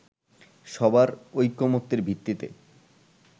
সবার ঐকমত্যের ভিত্তিতে